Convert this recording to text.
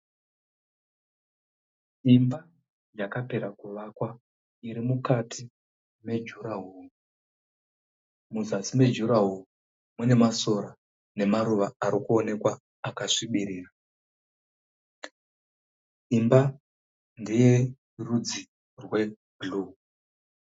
Imba yakapera kuvakwa iri mukati mejurahoro. Muzasi mejurahoro mune masora nemaruva ari kuoneka akasvibirira. Imba ndeyerudzi rwebhuru.